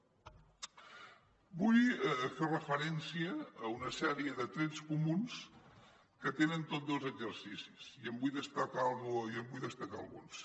vull fer referència a una sèrie de trets comuns que tenen tots dos exercicis i en vull destacar alguns